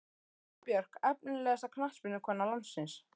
Sara Björk Efnilegasta knattspyrnukona landsins?